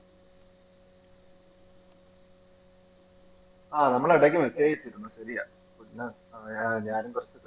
ആഹ് നമ്മള് ഇടയ്ക്കു message അയച്ചിരുന്നു ശരിയാ പിന്നെ ഞാനും കൊറച്ചു തെ